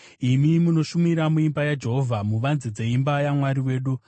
imi munoshumira muimba yaJehovha, muvanze dzeimba yaMwari wedu.